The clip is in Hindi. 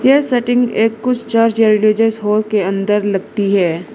ये सेटिंग एक कुछ चार्ज हॉल के अंदर लगती है।